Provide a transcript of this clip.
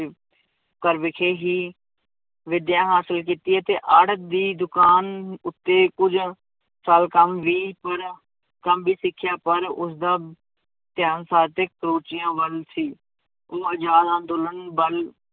ਘਰ ਵਿਖੇ ਹੀ ਵਿਦਿਆ ਹਾਸਿਲ ਕੀਤੀ ਹੈ ਅਤੇ ਆੜਤ ਦੀ ਦੁਕਾਨ ਉੱਤੇ ਕੁੱਝ ਸਾਲ ਕੰਮ ਵੀ ਕਰਿਆ, ਕੰਮ ਵੀ ਸਿੱਖਿਆ, ਪਰ ਉਸਦਾ ਧਿਆਨ ਸਾਹਿਤਿਕ ਰੁਚੀਆਂ ਵੱਲ ਸੀ, ਉਹ ਆਜ਼ਾਦ ਅੰਦੋਲਨ ਵੱਲ